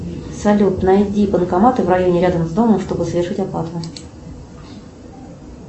салют найди банкоматы в районе рядом с домом чтобы совершить оплату